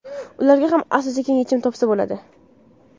Ularga ham asta-sekin yechim topsa bo‘ladi.